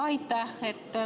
Jaa, aitäh!